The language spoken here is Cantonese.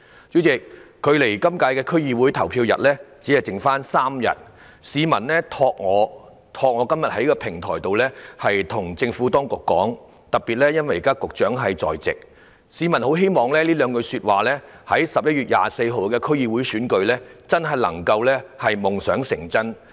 主席，距離這次區議會的投票日只餘3天，有市民想透過我在今天這個平台告訴政府當局，特別是局長現時也在席，他們很希望有兩句說話可以在11月24日舉行的區議會選舉夢想成真。